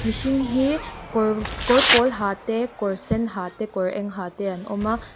hring hi kawr kawr pawl ha te kawr sen ha te kawr eng ha te an awm a.